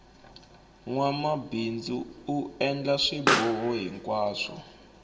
nwamabindzu u endla swiboho hinkwaswo